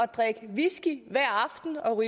drikke whisky hver aften og